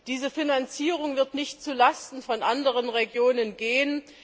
Diese Finanzierung wird nicht zu Lasten von anderen Regionen gehen.